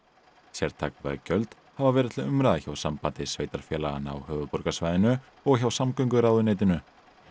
sértæk veggjöld hafa verið til umræðu hjá Sambandi sveitarfélaganna á höfuðborgarsvæðinu og hjá samgönguráðuneytinu